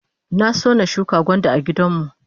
Na so na shuka gwanda a gidan mu